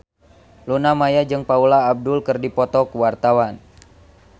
Luna Maya jeung Paula Abdul keur dipoto ku wartawan